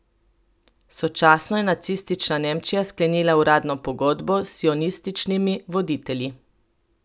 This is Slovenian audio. Sočasno je nacistična Nemčija sklenila uradno pogodbo s sionističnimi voditelji.